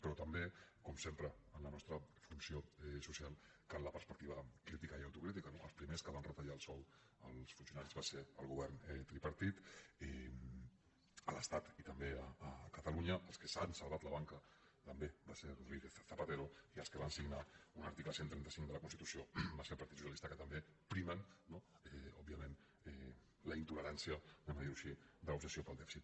però també com sempre en la nostra funció social cal la perspectiva crítica i autocrítica no els primers que van retallar el sou als funcionaris va ser el govern tri·partit a l’estat i també a catalunya els que han salvat la banca també va ser rodríguez zapatero i els que van signar un article cent i trenta cinc de la constitució va ser el partit socialista que també primen no òbviament la intolerància anem a dir·ho així de l’obsessió pel dèficit